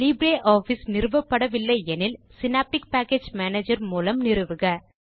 LibreOffice நிறுவப்படவில்லை எனில் Synaptic package manager மூலம் நிறுவுக